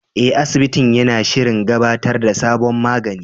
Eh, asibitin yana shirin gabatar da sabon magani.